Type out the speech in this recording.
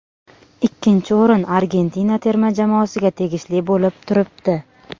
Ikkinchi o‘rin Argentina terma jamoasiga tegishli bo‘lib turibdi.